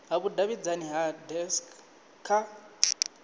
ha vhudavhidzano ha dacst kha